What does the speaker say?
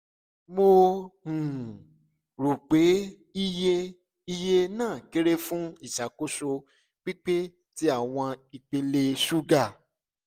mo um ro pe iye iye naa kere fun iṣakoso pipe ti awọn ipele suga